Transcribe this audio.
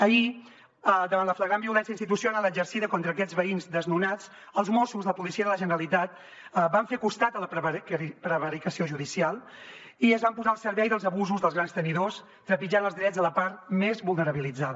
ahir davant la flagrant violència institucional exercida contra aquests veïns desnonats els mossos la policia de la generalitat van fer costat a la prevaricació judicial i es van posar al servei dels abusos dels grans tenidors trepitjant els drets de la part més vulnerabilitzada